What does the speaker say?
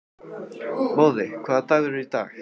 Móði, hvaða dagur er í dag?